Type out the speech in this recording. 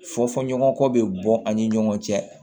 Fɔfɔnko bɛ bɔ an ni ɲɔgɔn cɛ